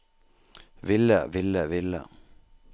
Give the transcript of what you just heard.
ville ville ville